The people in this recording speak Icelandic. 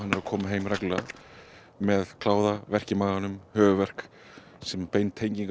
að koma heim reglulega með kláða verk í maganum höfuðverk sem er bein tenging